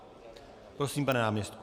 Prosím, pane náměstku.